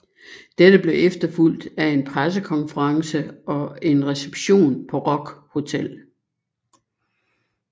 Dette blev efterfulgt af en pressekonference og en reception på Rock Hotel